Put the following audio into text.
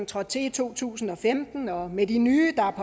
trådte til i to tusind og femten og med de nye der